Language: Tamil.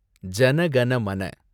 ஜன கன மன